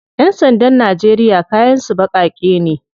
Yan sandan Najeriya kayan su bakake ne.